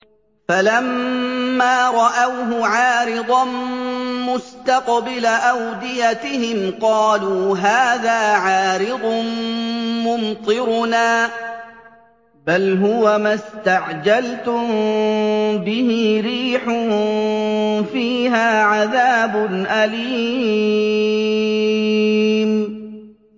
فَلَمَّا رَأَوْهُ عَارِضًا مُّسْتَقْبِلَ أَوْدِيَتِهِمْ قَالُوا هَٰذَا عَارِضٌ مُّمْطِرُنَا ۚ بَلْ هُوَ مَا اسْتَعْجَلْتُم بِهِ ۖ رِيحٌ فِيهَا عَذَابٌ أَلِيمٌ